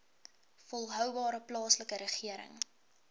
volhoubare plaaslike regering